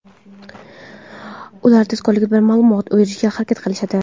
Ular tezkorlik bilan ma’lumot berishga harakat qilishadi.